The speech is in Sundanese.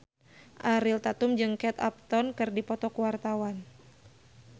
Ariel Tatum jeung Kate Upton keur dipoto ku wartawan